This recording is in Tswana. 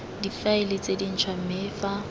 difaele tse dintšhwa mme fa